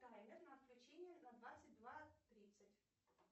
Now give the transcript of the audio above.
таймер на отключение на двадцать два тридцать